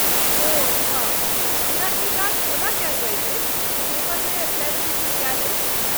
ओह अच्छा! मुदा ई जाँच कोना कयल जाइत अछि जे पेपरमे प्लैज़रिज्म कयल अछि?